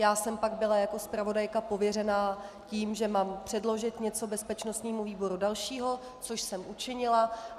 Já jsem pak byla jako zpravodajka pověřena tím, že mám předložit něco bezpečnostnímu výboru dalšího, což jsem učinila.